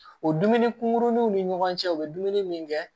O dumuni kunkuruninw ni ɲɔgɔn cɛ u bɛ dumuni min kɛ